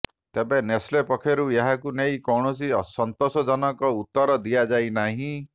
ତେବେ ନେସ୍ଲେ ପକ୍ଷରୁ ଏହାକୁ ନେଇ କୌଣସି ସନ୍ତୋଷଜନକ ଉତ୍ତର ଦିଆଯାଇ ନାହିଁ